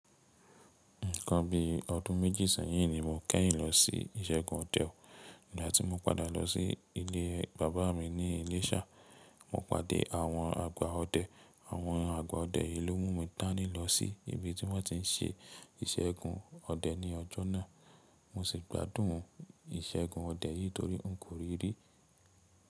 Nǹkan bí ọdún méjì sẹ́yìn ni mo kẹ́yìn lọ sí ìṣẹ́gun ọdẹ. Nígbà tí mọ padà lọ sí ilé bàbá mi ní Iléṣà, mo padé àwọn àgbà ọdẹ. Àwọn àgbà ọdẹ yìí ló mú mi dáni lọ sí ibi tí wọ́n ti ń ṣe ìṣẹ́gun ọdẹ ní ọjọ́ náà. Mo sì gbádùn ìṣẹ́gun ọdẹ yìí torí n kò rí rí.